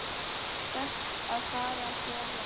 Best að fara ekki of langt.